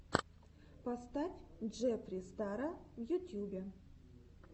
поставь джеффри стара в ютьюбе